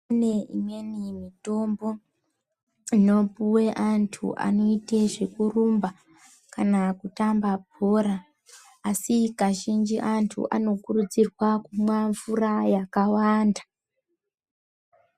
Pane imweni mitombo inopuwe antu anoite zvekurumba kana kutamba bhora asi kazhinji antu anokurudzirwa kumwa mvura yakawanda.